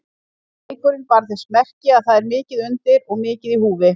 Leikurinn bar þess merki að það er mikið undir og mikið í húfi.